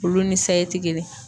Olu ni sayi te kelen ye.